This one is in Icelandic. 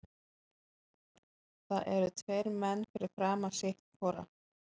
Það eru tveir menn fyrir framan sitt hvora.